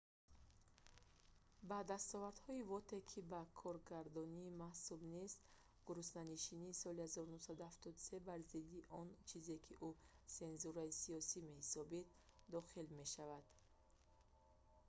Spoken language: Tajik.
ба дастовардҳои воте ки ба коргардонӣ мансуб нест гуруснанишинии соли 1973 бар зидди он чизе ки ӯ сензураи сиёсӣ меҳисобид дохил мешавад